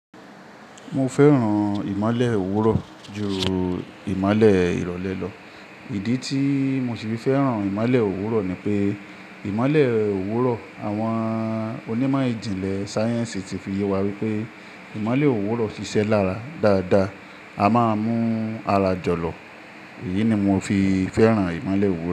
Mo fẹ́ràn ìmálè òwúrọ̀ ju ìmálè ìrọ̀lẹ́ lọ. Ìdí tí mo ṣe fẹ́ràn ìmálè òwúrọ̀ ni pé ìmálè òwúrọ̀ àwọn onímọ̀ ìjìnlẹ̀ sáyẹ́ǹsì ti fi yẹ wá wípé ìmálè òwúrọ̀ ṣiṣẹ́ lára dáadáa. A máa ń mú ara jọ̀lọ̀. Èyí ni mo fi fẹ́ràn ìmálè òwúrọ̀